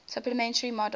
supplementary models